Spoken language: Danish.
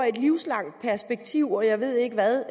i et livslangt perspektiv og jeg ved ikke hvad